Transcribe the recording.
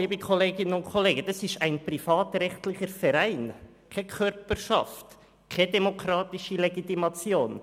Die SKOS, liebe Kolleginnen und Kollegen, ist ein privatrechtlicher Verein, keine Körperschaft, und hat keine demokratische Legitimation.